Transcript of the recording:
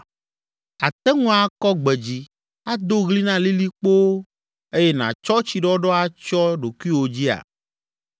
“Àte ŋu akɔ gbe dzi ado ɣli na lilikpowo, eye nàtsɔ tsiɖɔɖɔ atsyɔ ɖokuiwò dzia?